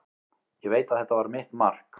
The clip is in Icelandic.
Ég veit að þetta var mitt mark.